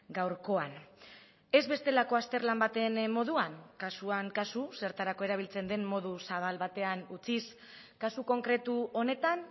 gaurkoan ez bestelako azterlan baten moduan kasuan kasu zertarako erabiltzen den modu zabal batean utziz kasu konkretu honetan